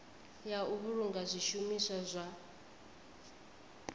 ya u vhulunga zwishumiswa zwa